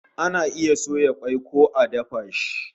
Ana iya soya kwai ko a dafa shi